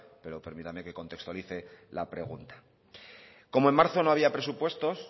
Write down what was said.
pero permítame que contextualice la pregunta como en marzo no había presupuestos